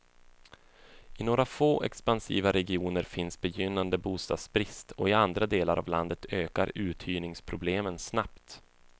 I några få expansiva regioner finns begynnande bostadsbrist och i andra delar av landet ökar uthyrningsproblemen snabbt.